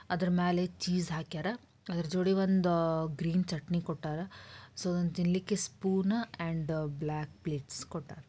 ಅದ್ರ ಮೇಲೆ ಚೀಸ್ ಹಾಕ್ಯಾರ ಅದ್ರ ಜೋಡಿ ಒಂದ್ ಗ್ರೀನ್ ಚಟ್ನಿ ಕೊಟ್ಟಾರ ಸೋ ತಿನ್ನಲಿಕ್ಕೆ ಸ್ಪೊನ್ ಆಂಡ್ ಬ್ಲಾಕ್ ಪ್ಲೇಟ್ಸ್ ಕೊಟ್ಟಾರ.